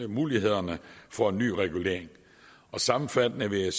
mulighederne for en ny regulering sammenfattende vil jeg